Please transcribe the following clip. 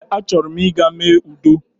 Ee a chọrọ m ịga mee udo